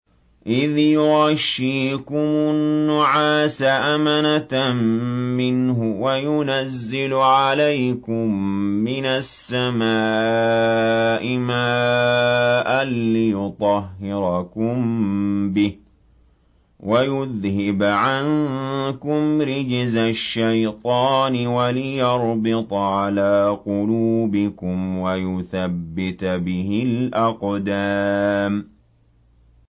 إِذْ يُغَشِّيكُمُ النُّعَاسَ أَمَنَةً مِّنْهُ وَيُنَزِّلُ عَلَيْكُم مِّنَ السَّمَاءِ مَاءً لِّيُطَهِّرَكُم بِهِ وَيُذْهِبَ عَنكُمْ رِجْزَ الشَّيْطَانِ وَلِيَرْبِطَ عَلَىٰ قُلُوبِكُمْ وَيُثَبِّتَ بِهِ الْأَقْدَامَ